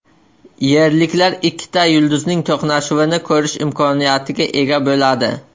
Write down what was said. Yerliklar ikkita yulduzning to‘qnashuvini ko‘rish imkoniyatiga ega bo‘ladi.